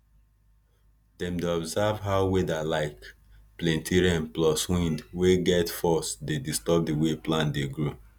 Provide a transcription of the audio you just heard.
dem dey observe how weather like plenti rain plus wind wey get force dey disturb di way plant dey grow